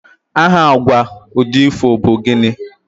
aha agwa udi ifo bu gini?